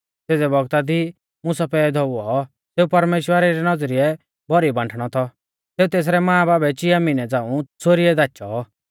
सेज़ै बौगता दी मुसा पैदौ हुऔ सेऊ परमेश्‍वरा री नौज़रीऐ भौरी बांठणौ थौ सेऊ तेसरै मांबाबै चिया मिहनै झ़ांऊ च़ोरिऐ दाचौ